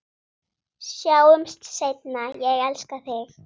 Sjáumst seinna, ég elska þig.